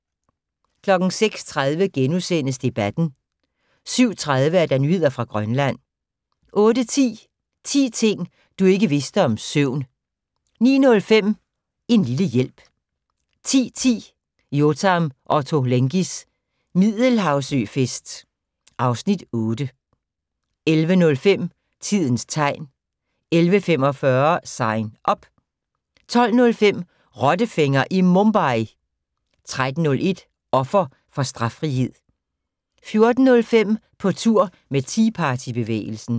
06:30: Debatten * 07:30: Nyheder fra Grønland 08:10: 10 ting du ikke vidste om søvn 09:05: En lille hjælp 10:10: Yotam Ottolenghis Middelhavsøfest (Afs. 8) 11:05: Tidens tegn 11:45: Sign Up 12:05: Rottefænger i Mumbai! 13:01: Offer for straffrihed 14:05: På tur med Tea Party-bevægelsen